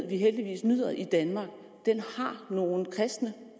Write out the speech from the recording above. vi heldigvis nyder i danmark har nogle kristne